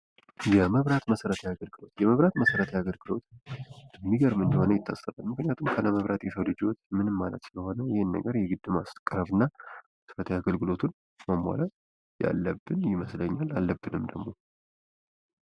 የመብራት መሠረታዊ አገልግሎት የመብራት መሠረታዊ አገልግሎት የሚገርም እንደሆነ ይታሰባል። ምክንያቱም ካለመብራት የሰው ልጅ ህይወት ምንም ማለት ነው። ይህን ነገር የግድ ማስተካከል እናመሠረታዊ አገልግሎቱን ማሟላት ያለብን ይመስለኛል አለብንም ደግሞ።